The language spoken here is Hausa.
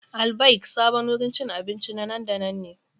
Al-Baik sabon wurin cin abinci na nan da nan ne.